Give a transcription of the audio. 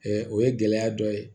o ye gɛlɛya dɔ ye